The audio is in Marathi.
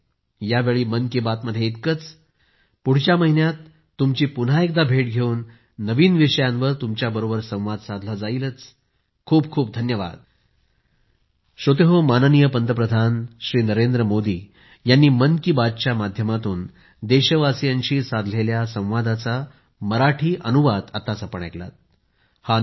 यावेळी मन की बात मध्ये इतकंच पुढच्या महिन्यात तुमची पुन्हा एकदा भेट घेवून नवीन विषयांवर तुमच्याबरोबर संवाद साधला जाईल खूपखूप धन्यवाद